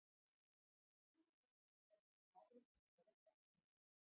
Ekki er vitað hvort það hafi einhverja eftirmála.